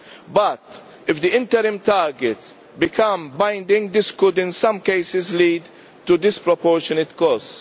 But if the interim targets become binding, this could in some cases lead to disproportionate costs.